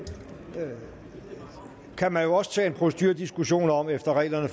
kan man jo også tage en procedurediskussion om efter reglerne